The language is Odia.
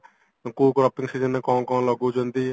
କୋଉ କୋଉ preseasonରେ କଣ କଣ ଲଗଉଚନ୍ତି